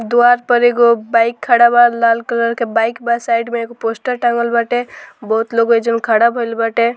दुआर पर एगो बाइक खड़ा बा लाल कलर के बाइक बा साइड में एगो पोस्टर टाँगल बाटे बहुत लोग एजुन खड़ा भईल बाटे।